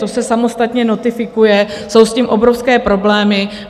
To se samostatně notifikuje, jsou s tím obrovské problémy.